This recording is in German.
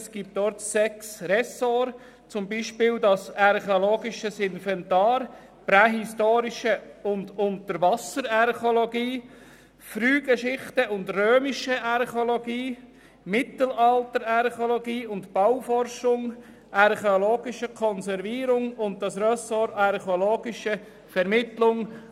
Es gibt dort sechs Ressorts, zum Beispiel ein archäologisches Inventar, prähistorische und Unterwasser-Archäologie, Frühgeschichte und römische Archäologie, Mittelalter-Archäologie und Bauforschung, archäologische Konservierung sowie das Ressort archäologische Vermittlung.